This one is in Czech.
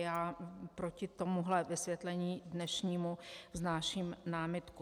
Já proti tomuhle vysvětlení dnešnímu vznáším námitku.